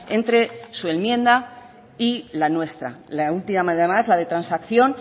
entre su enmienda y la nuestra la última además la de transacción